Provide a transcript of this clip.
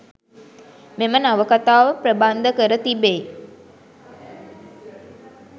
මෙම නවකතාව ප්‍රබන්ධ කර තිබෙයි.